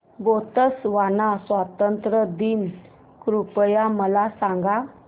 Botswana स्वातंत्र्य दिन कृपया मला सांगा